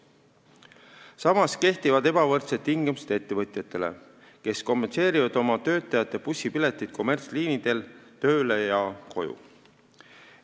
Samas kehtivad ebavõrdsed tingimused ettevõtjatele, kes kompenseerivad oma töötajate bussipileteid kommertsliinidel tööle ja koju sõiduks.